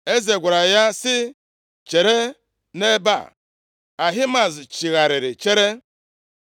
Eze gwara ya sị, “Chere nʼebe a.” Ahimaaz chigharịrị chere.